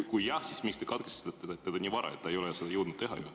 Ja kui jah, siis miks te katkestasite teda nii vara, et ta ei jõudnud seda teha?